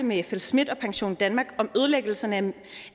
med flsmidth og pensiondanmark om ødelæggelserne